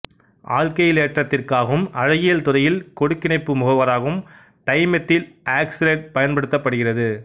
ஆல்க்கைலேற்றத்திற்காகவும் அழகியல் துறையில் கொடுக்கிணைப்பு முகவராகவும் டைமெத்தில் ஆக்சலேட்டு பயன்படுத்தப்படுகிறது